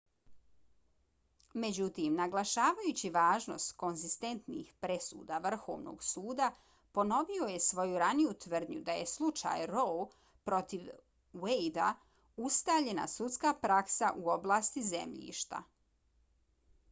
međutim naglašavajući važnost konzistentnih presuda vrhovnog suda ,ponovio je svoju raniju tvrdnju da je slučaj roe protiv wade-a ustaljena sudska praksa u oblasti zemljišta .